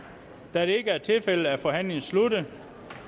da det ikke er tilfældet er forhandlingen sluttet